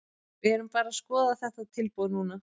Við erum bara að skoða þetta tilboð núna.